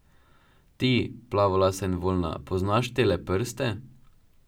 Ti, plavolasa in voljna, poznaš tele prste?